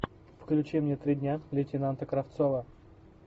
включи мне три дня лейтенанта кравцова